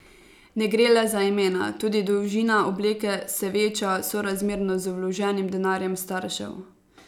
Ne gre le za imena, tudi dolžina obleke se veča sorazmerno z vloženim denarjem staršev.